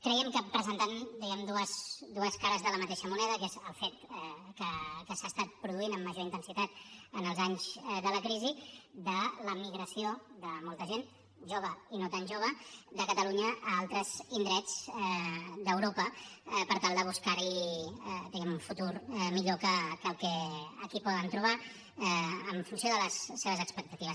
crèiem que presentant diguem ne dues cares de la mateixa moneda que és el fet que s’ha estat produint amb major intensitat en els anys de la crisi de la migració de molta gent jove i no tan jove de catalunya a altres indrets d’europa per tal de buscar hi diguem ne un futur millor que el que aquí poden trobar en funció de les seves expectatives